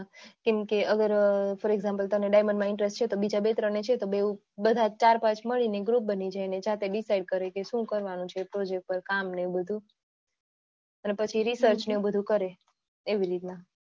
કેમકે અગર તમને for example diamond માં interest છે તો બે ત્રણ છે તો ચાર પાંચ મળીને group બની જાય ને જાતે decide કરે કે શું કરવાનું project માં કામ ને બધું અને પછી research ને એ બધું કરે